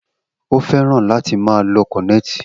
O fẹ́ràn láti máa lo kọnẹti